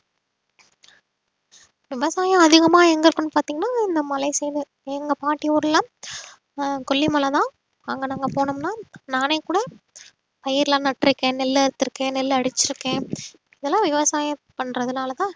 விவசாயம் அதிகமா எங்க இருக்குன்னு பாத்தீங்கன்னா இந்த மலை side எங்க பாட்டி ஊர்ல ஆஹ் கொல்லிமலைதான் அங்க நாங்க போனோம்ன்னா நானே கூட பயிர்லாம் நட்டுருக்கேன் நெல் அறுத்துருக்கேன் நெல் அடிச்சிருக்கேன் இதெல்லாம் விவசாயம் பண்றதுனாலதான்